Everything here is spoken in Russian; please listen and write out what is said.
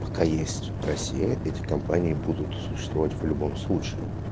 пока есть россия эти компании будут существовать в любом случае